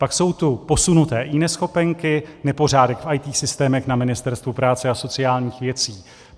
Pak jsou tu posunuté eNeschopenky, nepořádek v IT systémech na Ministerstvu práce a sociálních věcí.